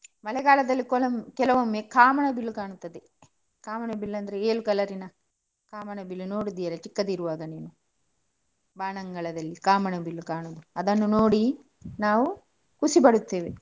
ಮಳೆಗಾಲದಲ್ಲಿ ಕೊಲಂ~ ಕೆಲವೊಮ್ಮೆ ಕಾಮನ ಬಿಲ್ಲು ಕಣ್ತದೆ ಕಾಮನ ಬಿಲ್ಲು ಅಂದ್ರೆ ಏಳು colour ಇನ ಕಾಮನ ಬಿಲ್ಲು. ನೋಡಿದ್ದೀರಾ ಚಿಕ್ಕದಿರುವಾಗ ನೀವು? ಬಾನಂಗಳದಲ್ಲಿ ಕಾಮನ ಬಿಲ್ಲು ಕಾಣುದು ಅದನ್ನು ನೋಡಿ ನಾವು ಖುಷಿಪಡುತ್ತೇವೆ.